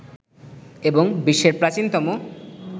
এবং বিশ্বের প্রাচীনতম